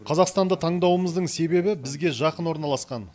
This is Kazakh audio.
қазақстанды таңдауымыздың себебі бізге жақын орналасқан